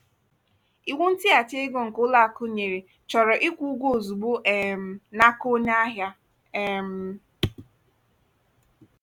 iwu ntighachi ego nke ụlọ akụ nyere chọrọ ịkwụ ụgwọ ozugbo um n'aka onye ahịa. um